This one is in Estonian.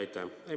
Aitäh!